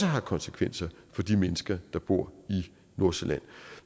har konsekvenser for de mennesker der bor i nordsjælland